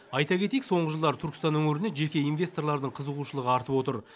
айта кетейік соңғы жылдары түркістан өңіріне жеке инвесторлардың қызығушылығы артып отыр